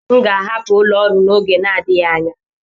M ga-ahapụ ụlọ ọrụ n'oge na-adịghị anya.